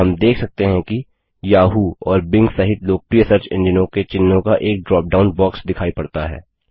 हम देख सकते हैं कि याहू और बिंग सहित लोकप्रिय सर्च एन्जिनो के चिन्हों का एक ड्रॉपडाउन बॉक्स दिखाई पड़ता है